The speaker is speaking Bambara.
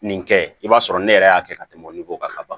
Nin kɛ i b'a sɔrɔ ne yɛrɛ y'a kɛ ka tɛmɛ nin ko kan ka ban